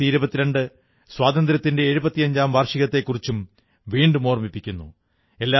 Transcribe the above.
2022 സ്വാതന്ത്ര്യത്തിന്റെ എഴുപത്തിയഞ്ചാം വാർഷികത്തെക്കുറിച്ചും വീണ്ടും ഓർമ്മിപ്പിക്കുന്നു